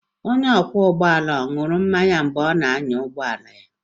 Onye ọkwọ ụgbọala ahụ ọ̀ ṅụrụ mmanya mgbe ọ na-anya ụgbọ ala?